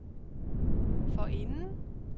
forinden